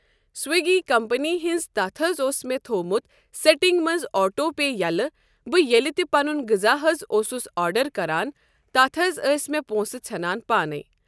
Swiggy company ہٕنٛز تتھ حض اوس مےٚ تھوومُت سیٹنٛگ منٛز آٹو پے یلہٕ بہٕ ییٚلہِ تہِ پنُن غذا حض اوسُس آرڈر کران تتھ حض ٲسۍ مےٚ پونٛسہٕ ژھٮ۪نان پانے۔